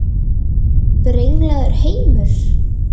Brenglaður heimur?